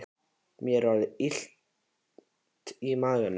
Mér er orðið illt í maganum